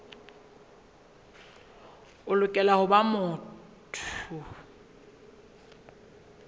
o lokela ho ba motho